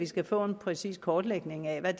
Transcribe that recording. skal få en præcis kortlægning af hvad